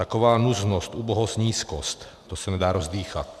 Taková nuznost, ubohost, nízkost, to se nedá rozdýchat.